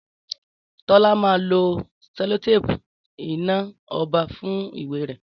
Tọ́lá máa lo selotéèpù iná ọba fún ìwé rè